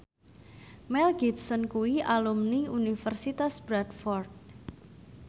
Mel Gibson kuwi alumni Universitas Bradford